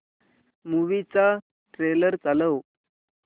movie चा trailer चालव